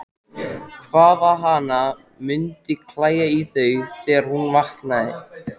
Hvað hana mundi klæja í þau þegar hún vaknaði!